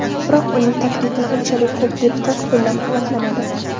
Biroq uning taklifini unchalik ko‘p deputat qo‘llab-quvvatlamadi.